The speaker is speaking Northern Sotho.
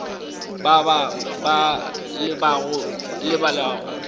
ba ba ba lebala go